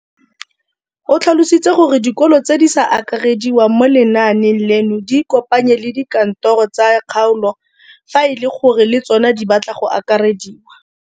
O tlhalositse gore dikolo tse di sa akarediwang mo lenaaneng leno di ikopanye le dikantoro tsa kgaolo fa e le gore le tsona di batla go akarediwa.